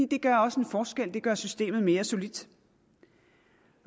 det gør også en forskel det gør systemet mere solidt